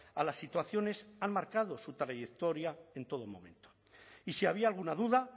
a las situaciones han marcado su trayectoria en todo momento y si había alguna duda